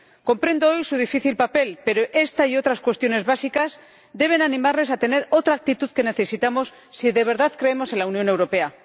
Comprendo su difícil papel, pero esta y otras cuestiones básicas deben animarles a tener otra actitud, que necesitamos si de verdad creemos en la Unión Europea.